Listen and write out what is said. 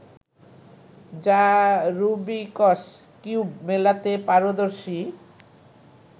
যা Rubik's cube মেলাতে পারদর্শী